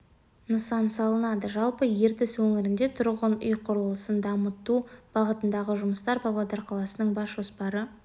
нысан салынады жалпы ертіс өңірінде тұрғын үй құрылысын дамыту бағытындағы жұмыстар павлодар қаласының бас жоспары